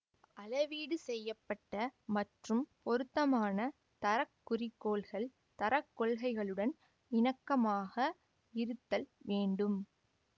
அளவீடு செய்ய பட்ட மற்றும் பொருத்தமான தர குறிக்கோள்கள் தர கொள்கைகளுடன் இணக்கமாக இருத்தல் வேண்டும்